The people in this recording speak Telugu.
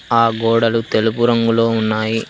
ఆ గోడలు తెలుపు రంగులో ఉన్నాయి.